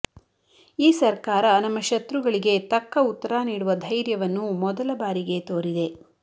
ಈ ಸರ್ಕಾರ ನಮ್ಮ ಶತ್ರುಗಳಿಗೆ ತಕ್ಕ ಉತ್ತರ ನೀಡುವ ಧೈರ್ಯವನ್ನು ಮೊದಲ ಬಾರಿಗೆ ತೋರಿದೆ